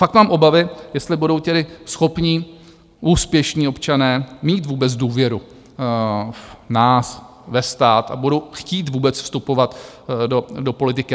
Fakt mám obavy, jestli budou tedy schopní, úspěšní občané mít vůbec důvěru v nás, ve stát a budou chtít vůbec vstupovat do politiky.